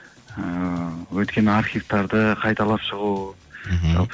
ыыы өткен архивтарды қайталап шығу мхм